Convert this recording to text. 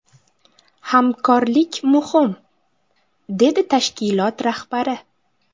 Hamkorlik muhim”, – dedi tashkilot rahbari.